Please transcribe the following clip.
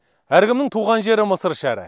әркімнің туған жері мысыр шәрі